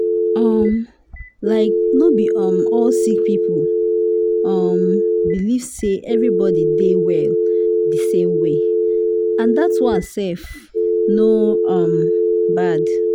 um like no be um all sick people um believe say everybody dey well di same way and dat one sef no um bad.